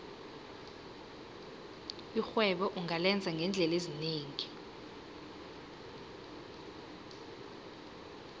irhwebo ungalenza ngeendlela ezinengi